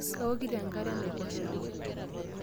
Kaokito enkare enaiposha.